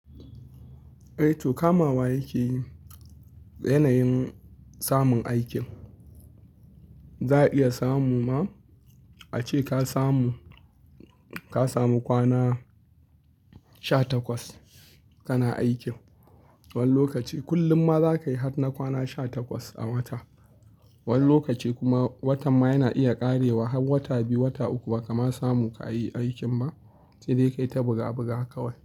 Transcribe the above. Eh to kamawa yakeyi yanayin samun aikin. Za a iya samu ma a ce ka samu, ka samu kwana sha takwas kana aikin wani lokaci. Kullum ma za ka yi har na kwana sha takwas a wata wani lokaci kuma watan ma yana iya ƙarewa har wata biyu, wata uku ba kama samu ka yi aikin ba. Sai dai kai ta buga buga kawai.